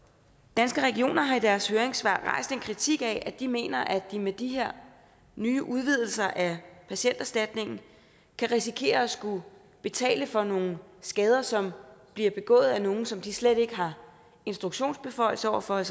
danske regioner har i deres høringssvar rejst en kritik af at de mener at de med de her nye udvidelser af patienterstatningen kan risikere at skulle betale for nogle skader som bliver begået af nogle som de slet ikke har instruktionsbeføjelse over for